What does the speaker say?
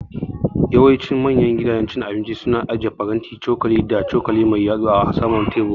Yawancin manya gidajen cin abinci su na aje faranti, cokali da cokali mai yatsu a saman tebur